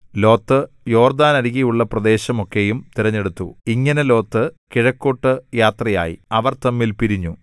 Lot യോർദ്ദാനരികെയുള്ള പ്രദേശം ഒക്കെയും തിരഞ്ഞെടുത്തു ഇങ്ങനെ ലോത്ത് കിഴക്കോട്ടു യാത്രയായി അവർ തമ്മിൽ പിരിഞ്ഞു